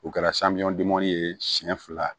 U kɛra ye siyɛn fila